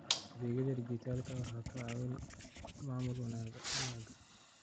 Adeegyada dijitaalka ah waxay ka caawiyaan maamul wanaagga.